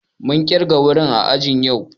Mun kirga wuri ã àji yau.